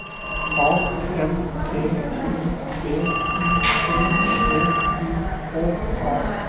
A N T I B I O T I K A